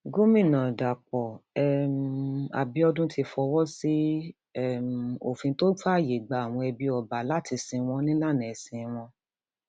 gomina dapò um abiodun ti fọwọ sí um òfin tó fààyè gba àwọn ẹbí ọba láti sìn wọn nílànà ẹsìn wọn